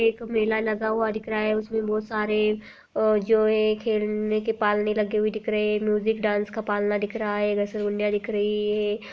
एक मेला लगा हुआ दिख रहा है उसमे बहोत सारे अ-जो है खेलने के पालने लगे हुए दिख रहे हैं म्यूजिक डांस का पालना दिख रहा है दिख रही है।